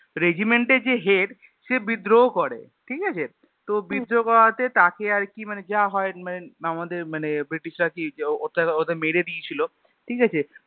Regiment এ যে head সে বিদ্রোহ করে ঠিকাছে তো বিদ্রহ করাতে তাঁকে আর কি মানে যা হয়ে মানে আমাদের মানে British রা কি মেরে দিয়েছিল ঠিক আছে